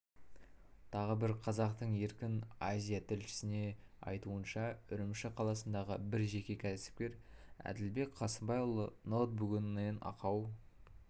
тағы бір қазақтың еркін азия тілшісіне айтуынша үрімші қаласындағы бір жеке кәсіпкер әділбек қасымбайұлы ноутбугінен ақау